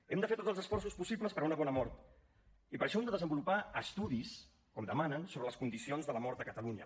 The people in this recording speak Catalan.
hem de fer tots els esforços possibles per a una bona mort i per això hem de desenvolupar estudis com demanen sobre les condicions de la mort a catalunya